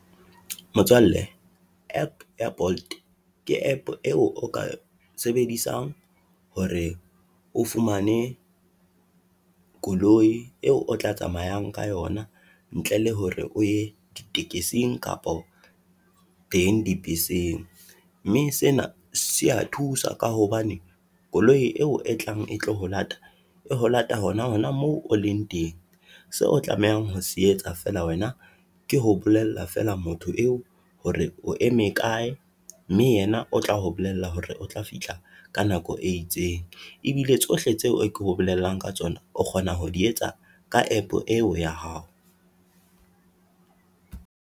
Motswalle app ya Bolt, ke app eo o ka sebedisang hore o fumane koloi eo o tla tsamayang ka yona ntle le hore o ye ditekesing kapa teng dibeseng, mme sena se ya thusa ka hobane koloi eo e tlang e tlo ho lata, e ho lata hona moo o leng teng. Seo o tlamehang ho se etsa fela wena, ke ho bolella fela motho eo hore o eme kae, mme yena o tlao bolella hore o tla fihla ka nako e itseng. Ebile tsohle tseo ke go bolellang ka tsona, o kgona ho di etsa ka app eo ya hao.